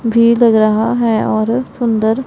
भी लग रहा है और सुंदर--